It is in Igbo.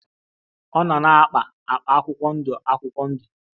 Ọ nọ na-akpa akpa akwụkwọ ndụ akwụkwọ ndụ.